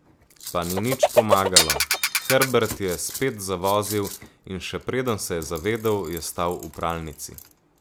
Pa ni nič pomagalo, Herbert je spet zavozil, in še preden se je zavedel, je stal v pralnici.